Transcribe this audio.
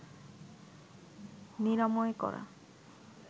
নিরাময় করা